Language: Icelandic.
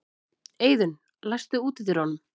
Eiðunn, læstu útidyrunum.